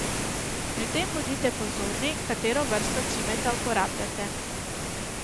Pri tem bodite pozorni, katero vrsto cimeta uporabljate.